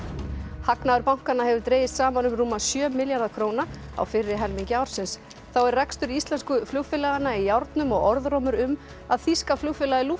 hagnaður bankanna hefur dregist saman um rúma sjö milljarða króna á fyrri helmingi ársins þá er rekstur íslensku flugfélaganna í járnum og orðrómur um að þýska flugfélagið